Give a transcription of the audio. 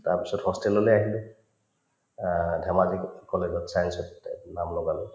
তাৰপিছত hostel ললে আহিলো আ ধেমাজি co college ত science ত নাম লগালো